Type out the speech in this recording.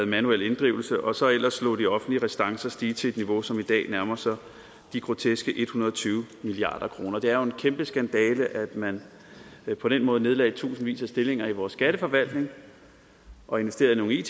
manuel inddrivelse og så ellers lod de offentlige restancer stige til et niveau som i dag nærmer sig de groteske en hundrede og tyve milliard kroner det er jo en kæmpe skandale at man på den måde nedlagde tusindvis af stillinger i vores skatteforvaltning og investerede i